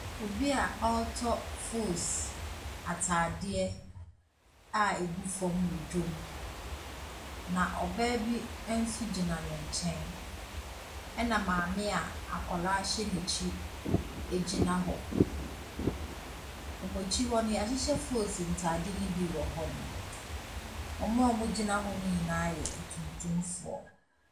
Obia ɔɔtɔ foos ataadeɛ a ɛgu fɔm ɛwɔ dwom. Na obaa bi nso gyina ne nkyɛn ɛna maame akwadaa ɛhyɛ na akyi ɛgyina hɔ. Wɔn akyi hɔ yahyehyɛ foos ntaade no bi wɔ hɔ. Wɔn a ɔgyina hɔ nyinaa yɛ atuntumfoɔ.